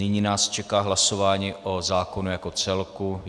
Nyní nás čeká hlasování o zákonu jako celku.